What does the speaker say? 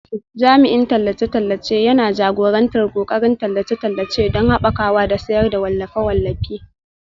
Jami'in tallace-tallace yana jagorantar ƙoƙarin tallace-tallace don haɓakawa da sayar da wallafe-wallafe